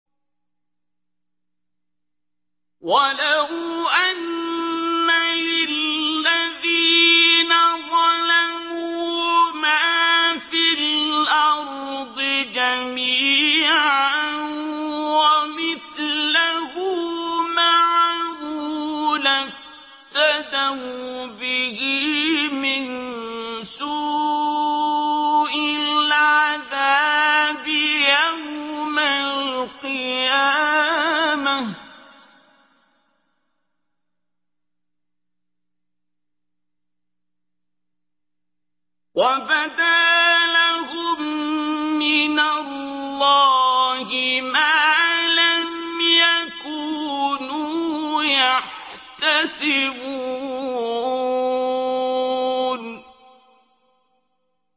وَلَوْ أَنَّ لِلَّذِينَ ظَلَمُوا مَا فِي الْأَرْضِ جَمِيعًا وَمِثْلَهُ مَعَهُ لَافْتَدَوْا بِهِ مِن سُوءِ الْعَذَابِ يَوْمَ الْقِيَامَةِ ۚ وَبَدَا لَهُم مِّنَ اللَّهِ مَا لَمْ يَكُونُوا يَحْتَسِبُونَ